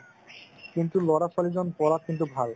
কিন্তু লৰা ছোৱালিজন পঢ়াত কিন্তু ভাল